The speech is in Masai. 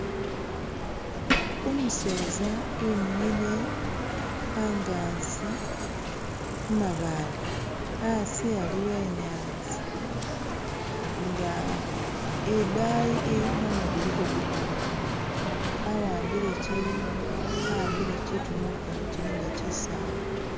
Umuseeza imile aganzi kumabaale asi aliwo inyanza nga idayi mumu guliko gutula awambile kyintu munkono kyilinga kyisaala